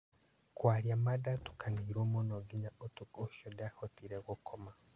"Kwaria ma ndatukanĩirwo mũno nginya ũtukũ ũcio ndiahotire gũkoma".